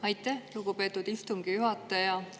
Aitäh, lugupeetud istungi juhataja!